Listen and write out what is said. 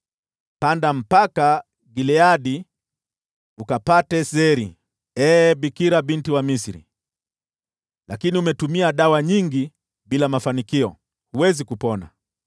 “Panda hadi Gileadi ukapate zeri, ee Bikira Binti wa Misri. Lakini umetumia dawa nyingi bila mafanikio; huwezi kupona.